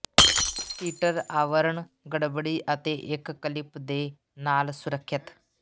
Peter ਆਵਰਣ ਗੜਬੜੀ ਅਤੇ ਇੱਕ ਕਲਿਪ ਦੇ ਨਾਲ ਸੁਰੱਖਿਅਤ